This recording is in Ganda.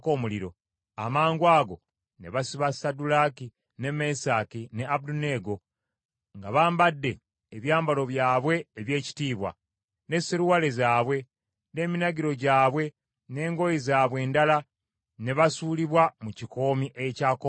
Amangwago ne basiba Saddulaaki, ne Mesaki ne Abeduneego, nga bambadde ebyambalo byabwe eby’ekitiibwa, ne seruwale zaabwe, n’eminagiro gyabwe n’engoye zaabwe endala, ne basuulibwa mu kikoomi ekyaka omuliro.